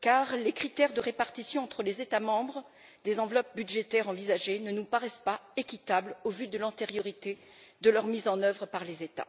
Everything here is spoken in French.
car les critères de répartition entre les États membres des enveloppes budgétaires envisagées ne nous paraissent pas équitables au vu de l'antériorité de leur mise en œuvre par les États.